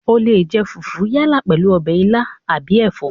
O leè jẹ fùfú yálà pèlú ọbẹ̀ ilá àbí ẹ̀fọ́